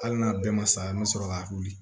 Hali n'a bɛɛ ma sa i ma sɔrɔ k'a wuli